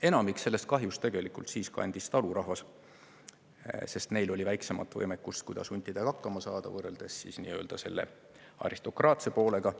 Enamiku sellest kahjust tegelikult kandis talurahvas, sest neil oli väiksem võimekus huntidega hakkama saada, võrreldes aristokraatse poolega.